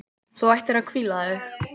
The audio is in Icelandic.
Þú ættir að hvíla þig.